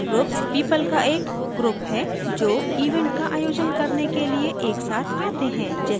user groups people का एक groups है जो event का आयोजन करने के लिए एक साथ आते हैं